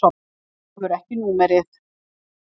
Þú hefur ekki númerið.